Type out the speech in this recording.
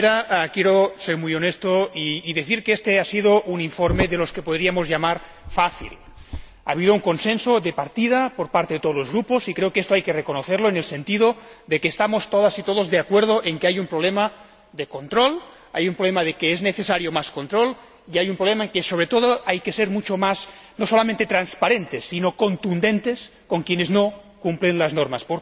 La primera, quiero ser muy honesto y decir que éste ha sido un informe que podríamos llamar fácil. Ha habido un consenso de partida, por parte de todos los Grupos y creo que esto hay que reconocerlo, en el sentido de que estamos todas y todos de acuerdo en que hay un problema de control, es necesario más control y, sobre todo, hay que ser mucho más, no solamente transparentes, sino también contundentes con quienes no cumplen las normas.